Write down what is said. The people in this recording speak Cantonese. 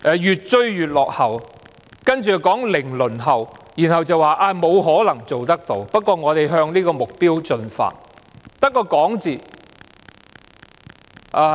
然後又說零輪候、說沒有可能做得到，不過他們會向這個目標進發。